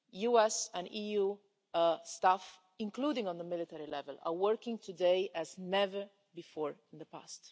US and EU staff, including at military level, are working together today as never before in the past.